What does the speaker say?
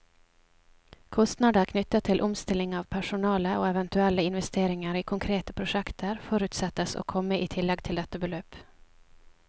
Kostnader knyttet til omstilling av personale, og eventuelle investeringer i konkrete prosjekter, forutsettes å komme i tillegg til dette beløp.